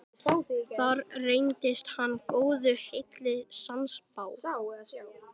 Þar reyndist hann góðu heilli sannspár.